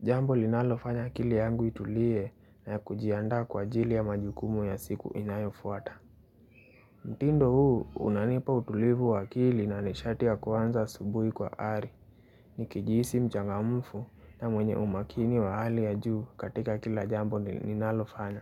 Jambo linalofanya akili yangu itulie na yakujiandaa kwa ajili ya majukumu ya siku inayofuata mtindo huu unanipa utulivu wa akili na nishati ya kwanza asubuhi kwa ari Nikijihisi mchangamufu na mwenye umakini wa hali ya juu katika kila jambo ninalofanya.